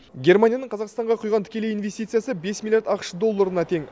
германияның қазақстанға құйған тікелей инвестициясы бес миллиард ақш долларына тең